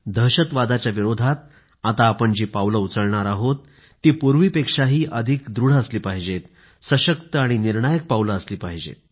दहशतवादाच्या विरोधात आता आपण जी पावले उचलणार आहोत ती पूर्वीपेक्षाही अधिक दृढ सशक्त आणि निर्णायक पावले असली पाहिजेत